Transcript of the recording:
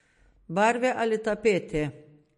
Barve ali tapete?